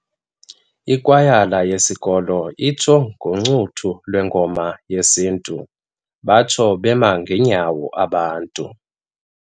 Ikwayala yesikolo itsho ngoncuthu lwengoma yesintu batsho bema ngeenyawo abantu.